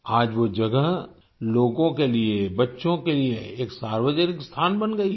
आज वो जगह लोगों के लिए बच्चों के लिए एक सार्वजनिक स्थान बन गई है